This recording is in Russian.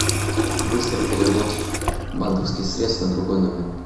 быстрый перевод банковских средств на другой номер